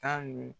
Tan dun